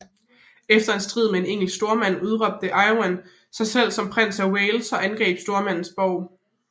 Efter en strid med en engelsk stormand udråbte Owain sig selv som prins af Wales og angreb stormandens borg